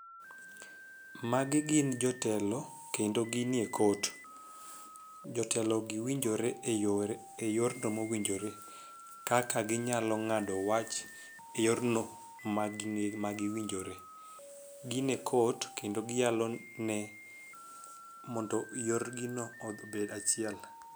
Magi gin jotelo kendo ginie court, jotelo gi winjore e yorno mowinjore kaka ginyalo ng'ado wach e yorno ma gi winjore ,gin e court kendo giyalo ne mondo yor gi no obed achiel.